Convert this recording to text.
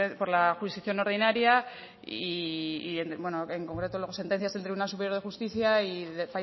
por la jurisdicción ordinaria y en concreto luego sentencias del tribunal superior de justicia